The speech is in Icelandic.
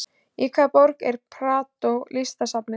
Í hvaða borg er Prado listasafnið?